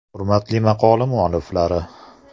“Hurmatli maqola mualliflari!